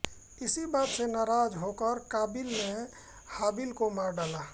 इसी बात से नाराज होकर काबिल ने हाबिल को मार डाला